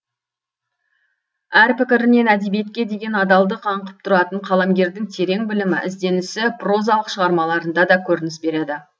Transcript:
әр пікірінен әдебиетке деген адалдық аңқып тұратын қаламгердің терең білімі ізденісі прозалық шығармаларында да көрініс береді